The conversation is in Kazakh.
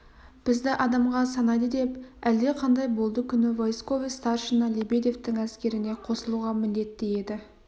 бізді адамға санайды деп әлдеқандай болды күні войсковой старшина лебедевтің әскеріне қосылуға міндетті еді